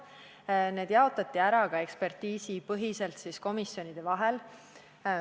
Eelnõu eri osad jaotati komisjonide vahel ekspertiisipõhiselt laiali.